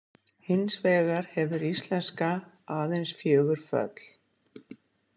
"Hins vegar hefur íslenska ""aðeins fjögur föll."